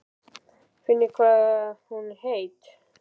Finnið þið hvað hún er heit?